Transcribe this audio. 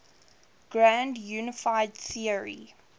grand unified theory